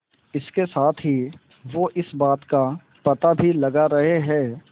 इसके साथ ही वो इस बात का पता भी लगा रहे हैं